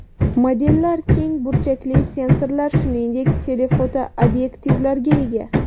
Modellar keng burchakli sensorlar, shuningdek, tele-foto obyektivlarga ega.